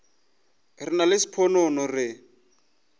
re nna le sponono re